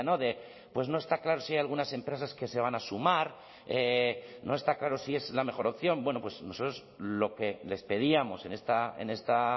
de pues no está claro si hay algunas empresas que se van a sumar no está claro si es la mejor opción bueno pues nosotros lo que les pedíamos en esta